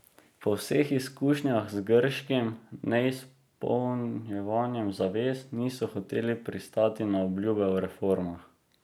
Po vseh izkušnjah z grškim neizpolnjevanjem zavez, niso hoteli pristati na obljube o reformah.